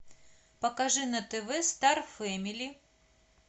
покажи на тв стар фэмили